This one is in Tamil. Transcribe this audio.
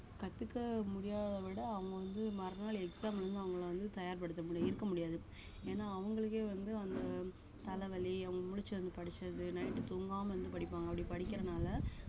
கத்துக்க முடியாத விட அவுங்க வந்து மறுநாள் exam வந்து அவுங்கள வந்து தயார்படுத்த முடி~ இருக்க முடியாது ஏன்னா அவங்களுக்கே வந்து அந்த தலவலி அவுங்க முழிச்சு வந்து படிச்சது night தூங்காம இருந்து படிப்பாங்க அப்படி படிக்கறனால